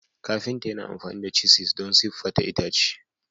Kafinta yana amfani da cisis don siffata itace.